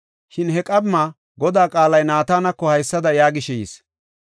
Shin he qamma Godaa qaalay Naatanako haysada yaagishe yis;